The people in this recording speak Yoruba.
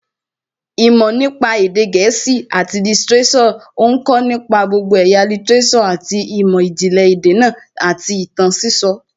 Ìmọ̀ nípa èdè gẹ̀ẹ́sì àti lítíréṣọ̀ ń kọ̀ nípa gbogbo ẹ̀yà lítíréṣọ̀ àti ìmọ̀ ìjìnlẹ̀ èdè náà àti ìtàn sísọ